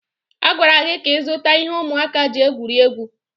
A gwara gị ka ịzụta ihe ụmụaka ji egwuri egwu.